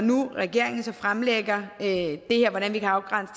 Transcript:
regeringen fremlægger hvordan vi kan afgrænse